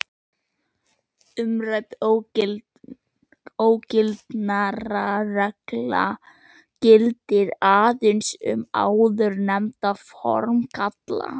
Umrædd ógildingarregla gildir aðeins um áðurnefnda formgalla.